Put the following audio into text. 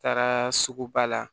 Taara sugu ba la